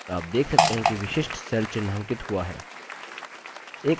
आप देख सकते हैं कि विशिष्ट cell चिन्हांकित हुआ है